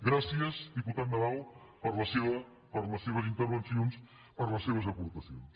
gràcies diputat nadal per les seves intervencions per les seves aportacions